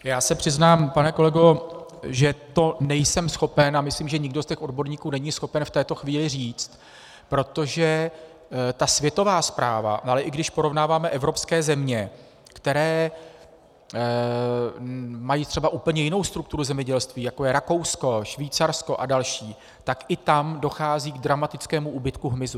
Já se přiznám, pane kolego, že to nejsem schopen, a myslím, že nikdo z těch odborníků není schopen v této chvíli říct, protože ta světová zpráva, ale i když porovnáváme evropské země, které mají třeba úplně jinou strukturu zemědělství, jako je Rakousko, Švýcarsko a další, tak i tam dochází k dramatickému úbytku hmyzu.